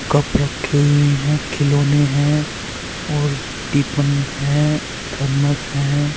Cup रखे हुए हैं खिलौने हैं और टिपन है थरमस है।